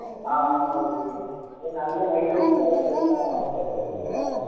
ஆஹ் ஆமா okay இதே நல்ல mileage தர்ற bike ன்னா பிரச்சனையே இல்லை